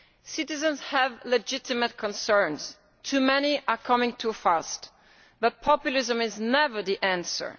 Citizens have legitimate concerns, too many are coming too fast, but populism is never the answer.